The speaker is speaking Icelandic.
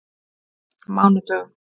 mánudögum